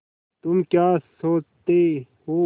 तुम क्या सोचते हो